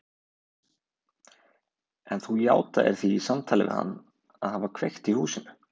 En þú játaðir því í samtali við hann að hafa kveikt í húsinu.